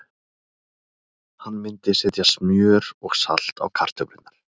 Hann myndi setja smjör og salt á kartöflurnar.